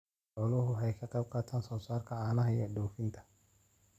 Xooluhu waxay ka qaybqaataan soosaarka caanaha ee dhoofinta.